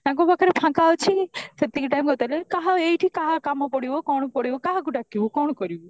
ତାଙ୍କ ପାଖରେ ଫାଙ୍କ ଅଛ କି ସେତିକି time ହଉ ତାହେଲେ କାହା ଏଇଠି କାହା କାମ ପଡିବା କଣ ପଡିବ କାହାକୁ ଡାକିବୁ କଣ କରିବୁ